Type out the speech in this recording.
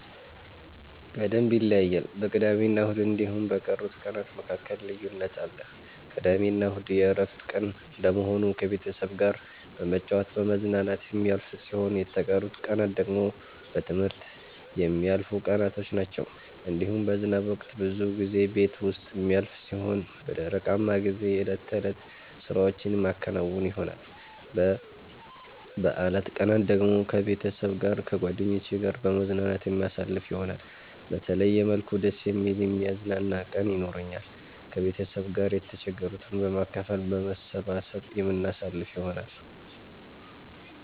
በደምብ ይለያያል በቅዳሜና እሁድ እንዲሁም በቀሩት ቀናት መካከል ልዩነት አለ። ቅዳሜና እሁድ የእረፍት ቀን እንደመሆኑ ከቤተሰብ ጋራ በመጫወት በመዝናናት የሚያልፍ ሲሆን የተቀሩት ቀናት ደግሞ በትምህርት የሚያልፉቀናቶች ናቸዉ። እንዲሁም በዝናብ ወቅት ብዙ ጊዜ ቤት ዉስጥ የሚያልፍ ሲሆን በደረቃማ ጊዜ የእለት ተእለት ስራዎቼን የማከናዉን ይሆናል። በበአላት ቀናት ደግሞ ከቤተሰብ ጋር ከጓደኜቼ ጋራ በመዝናናት የማሳልፍ ይሆናል። በተለየ መልኩ ደስ የሚል የሚያዝናና ቀን የኖራኛል። ከቤተሰብ ጋር የተቸገሩትን በማካፈል በመሰባሰብ የምናሳልፍ ይሆናል።